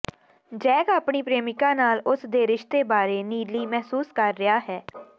Jack ਆਪਣੀ ਪ੍ਰੇਮਿਕਾ ਨਾਲ ਉਸ ਦੇ ਰਿਸ਼ਤੇ ਬਾਰੇ ਨੀਲੀ ਮਹਿਸੂਸ ਕਰ ਰਿਹਾ ਹੈ